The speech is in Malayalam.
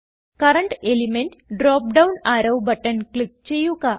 current element drop down arrow button click ചെയ്യുക